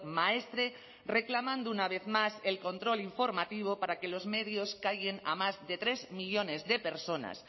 maestre reclamando una vez más el control informativo para que los medios callen a más de tres millónes de personas